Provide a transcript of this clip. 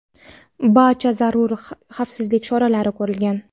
barcha zarur xavfsizlik choralari ko‘rilgan.